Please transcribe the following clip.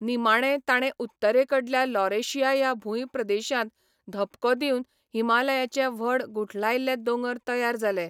निमाणें ताणें उत्तरेकडल्या लॉरेशिया ह्या भूंयप्रदेशांत धपको दिवन हिमालयाचे व्हड गुठलायल्ले दोंगर तयार जाले.